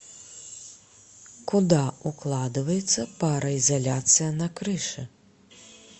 куда укладывается пароизоляция на крыше